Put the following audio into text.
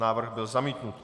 Návrh byl zamítnut.